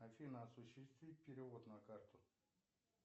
афина осуществи перевод на карту